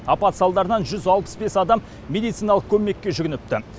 апат салдарынан жүз алпыс бес адам медициналық көмекке жүгініпті